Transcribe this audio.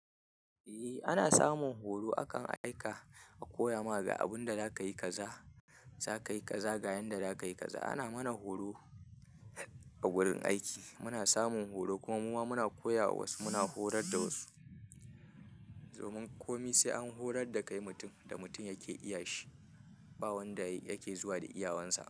Eh ana samun horo akan aika a koya ma ga abun da za ka yi kaza, za ka yi kaza ga yanda za ka yi kaza. Ana mana horo a gurin aiki, muna samun horo kuma muma muna koya wa wasu muna horar da wasu domin komi sai an horar da kai mutum da mutum yake iyashi ba wanda yake zuwa da iya wansa.